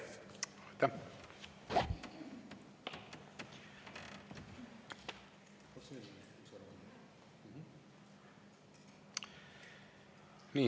Aitäh!